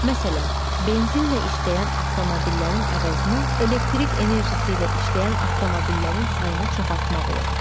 Məsələn, benzinlə işləyən avtomobillərin əvəzinə elektrik enerjisi ilə işləyən avtomobillərin sayını çoxaltmaq olar.